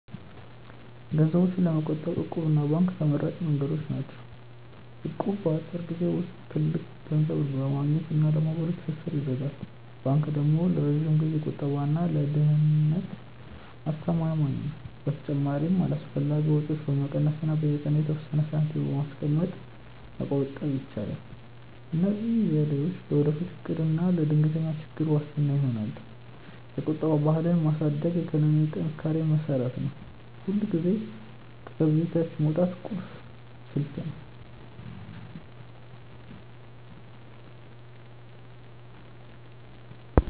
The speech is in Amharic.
ገንዘብ ለመቆጠብ 'እቁብ' እና ባንክ ተመራጭ መንገዶች ናቸው። እቁብ በአጭር ጊዜ ውስጥ ትልቅ ገንዘብ ለማግኘት እና ለማህበራዊ ትስስር ይረዳል። ባንክ ደግሞ ለረጅም ጊዜ ቁጠባ እና ለደህንነት አስተማማኝ ነው። በተጨማሪም አላስፈላጊ ወጪዎችን በመቀነስ እና በየቀኑ የተወሰነ ሳንቲም በማስቀመጥ መቆጠብ ይቻላል። እነዚህ ዘዴዎች ለወደፊት እቅድ እና ለድንገተኛ ችግሮች ዋስትና ይሆናሉ። የቁጠባ ባህልን ማሳደግ ለኢኮኖሚ ጥንካሬ መሰረት ነው። ሁልጊዜም ከገቢ በታች ማውጣት ቁልፍ ስልት ነው።